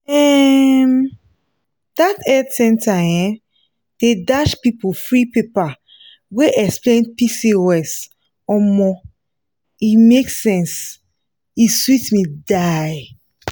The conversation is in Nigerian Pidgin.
um dat health center um dey dash people free paper wey explain pcos omo e make sense e sweet me die.